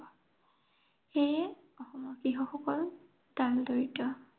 সেয়ে অসমৰ কৃষকসকল ডাল-দৰিদ্ৰ।